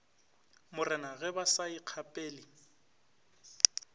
morena ge ba sa ikgapele